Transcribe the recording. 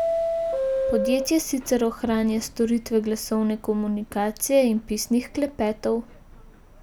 Podjetje sicer ohranja storitve glasovne komunikacije in pisnih klepetov.